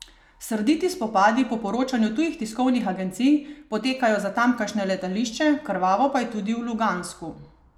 Srditi spopadi po poročanju tujih tiskovnih agencij potekajo za tamkajšnje letališče, krvavo pa je tudi v Lugansku.